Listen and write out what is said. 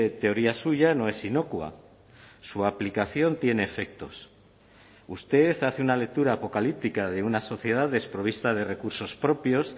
teoría suya no es inocua su aplicación tiene efectos usted hace una lectura apocalíptica de una sociedad desprovista de recursos propios